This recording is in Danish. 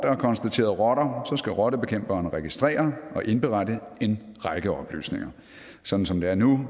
er konstateret rotter skal rottebekæmperen registrere og indberette en række oplysninger sådan som det er nu